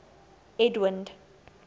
edwind